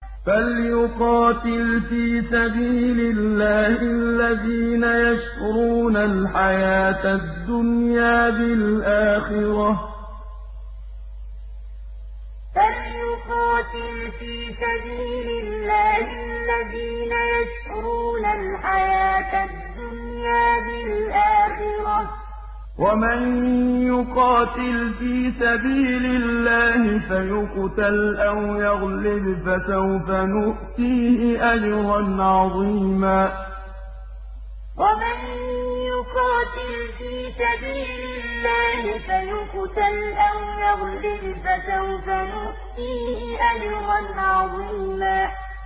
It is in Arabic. ۞ فَلْيُقَاتِلْ فِي سَبِيلِ اللَّهِ الَّذِينَ يَشْرُونَ الْحَيَاةَ الدُّنْيَا بِالْآخِرَةِ ۚ وَمَن يُقَاتِلْ فِي سَبِيلِ اللَّهِ فَيُقْتَلْ أَوْ يَغْلِبْ فَسَوْفَ نُؤْتِيهِ أَجْرًا عَظِيمًا ۞ فَلْيُقَاتِلْ فِي سَبِيلِ اللَّهِ الَّذِينَ يَشْرُونَ الْحَيَاةَ الدُّنْيَا بِالْآخِرَةِ ۚ وَمَن يُقَاتِلْ فِي سَبِيلِ اللَّهِ فَيُقْتَلْ أَوْ يَغْلِبْ فَسَوْفَ نُؤْتِيهِ أَجْرًا عَظِيمًا